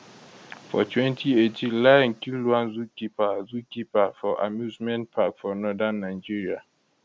for 2018 lion kill one zookeeperfor zookeeperfor amusement park for northern nigeria